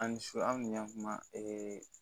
A ni su an kun y'a kuma ee